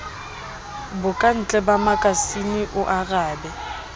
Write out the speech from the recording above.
bokantle ba makasine o arabe